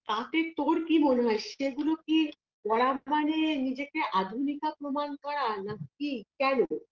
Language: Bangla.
তাতে তোর কি মনে হয় সেগুলো কি করা মানে নিজেকে আধুনিকা প্রমাণ করা নাকি কেন